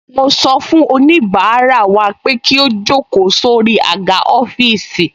Mo sọ fún oníbàárà wa pé kí ó jókòó sórí àga ọ́fíìsì